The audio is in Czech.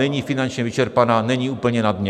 Není finančně vyčerpaná, není úplně na dně.